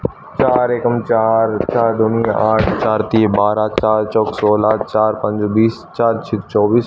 चार एकम चार चार दूनी आठ चार तीय बारह चार चौक सोलह चार पंजे बीस चार छीक चौबीस।